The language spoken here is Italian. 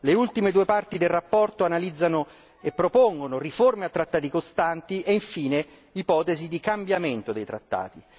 Le ultime due parti della relazione analizzano e propongono riforme a trattati costanti e infine ipotesi di cambiamento dei trattati.